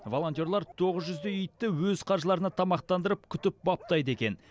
волонтерлар тоғыз жүздей итті өз қаржыларына тамақтандырып күтіп баптайды екен